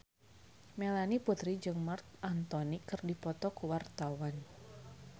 Melanie Putri jeung Marc Anthony keur dipoto ku wartawan